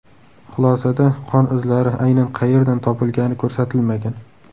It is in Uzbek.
Xulosada qon izlari aynan qayerdan topilgani ko‘rsatilmagan.